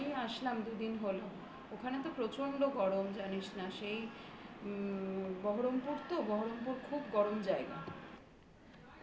এই আসলাম দুদিন হল। ওখানে তো প্রচন্ড গরম জানিস না. সেই উম বহরমপুর তো বহরমপুর খুব গরম জায়গা।